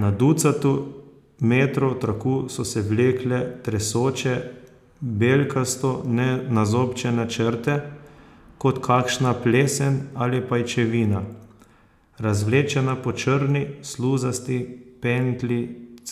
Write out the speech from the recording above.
Na ducatu metrov traku so se vlekle tresoče, belkasto nazobčane črte, kot kakšna plesen ali pajčevina, razvlečena po črni, sluzasti pentlji